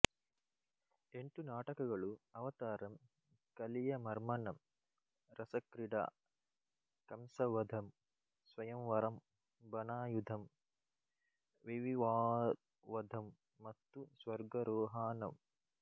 ಎಂಟು ನಾಟಕಗಳು ಅವತಾರಮ್ ಕಲಿಯಮರ್ಮನಮ್ ರಸಕ್ರಿಡಾ ಕಂಸವಧಮ್ ಸ್ವಯಂವರಂ ಬನಾಯುಧಮ್ ವಿವಿವಾವಧಮ್ ಮತ್ತು ಸ್ವರ್ಗರೋಹಾನಮ್